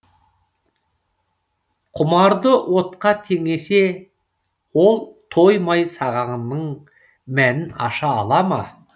құмарды отқа теңесе ол тоймай сағанның мәнін аша ала ма